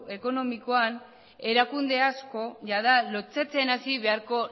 ekonomikoan erakunde asko jada lotsatzen hasi beharko